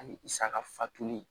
Ani i saka fatuli